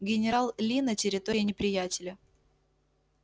генерал ли на территории неприятеля